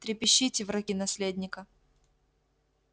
трепещите враги наследника